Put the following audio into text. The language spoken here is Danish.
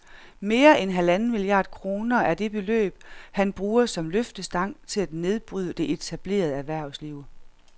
Mere end halvanden milliard kroner er det beløb, han bruger som løftestang til at nedbryde det etablerede erhvervsliv